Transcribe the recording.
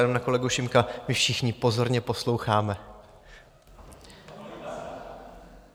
Jenom na kolegu Šimka, my všichni pozorně posloucháme.